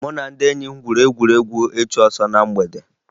Mụ na ndị enyi m gwuru egwu ịchụ ọsọ na mgbede